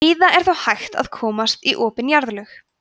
víða er þó hægt að komast í opin jarðlög